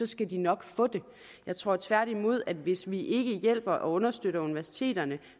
skal de nok få det jeg tror tværtimod at hvis vi ikke hjælper og understøtter universiteterne